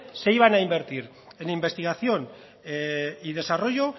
se iban a invertir en investigación y desarrollo